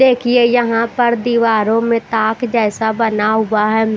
देखिए यहां पर दीवारों में ताक जैसा बना हुआ है।